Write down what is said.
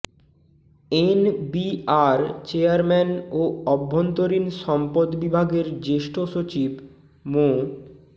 NBR chairman ও অভ্যন্তরীণ সম্পদ বিভাগের জ্যেষ্ঠ সচিব মো